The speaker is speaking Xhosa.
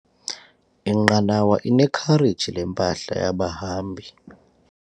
Inqanawa inekhareji lempahla yabahambi.